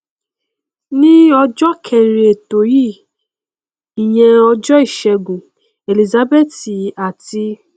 ní ọjọ kẹẹrin ètò yìí ìyẹn ọjọ ìṣẹgun elizabeth ati